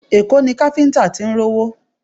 Èkó ni káfíńtà tí ń rówó